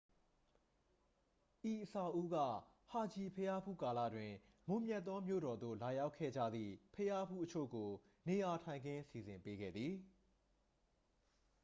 ဤအဆောက်အဦးက ဟာဂျီဘုရားဖူးကာလတွင် မွန်မြတ်သောမြို့တော်သို့ လာရောက်ခဲ့ကြသည့် ဘုရားဖူးအချို့ကို နေရာထိုင်ခင်း စီစဉ်ပေးခဲ့သည်